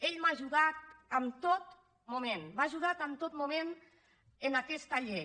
ell m’ha ajudat en tot moment m’ha ajudat en tot moment en aquesta llei